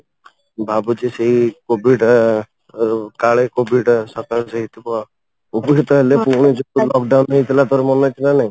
ଭାବୁଛି ସେଇ COVID ଅଂ କାଳେ COVID ହେଇଥିବ COVID ତ ହେଲେ ପୁଣି ଯୋଉ lock down ହେଇଥିଲା ଥରେ ମନେ ଅଛି ନା ନାହିଁ